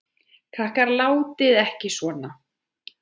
Krakkar látiði ekki svona!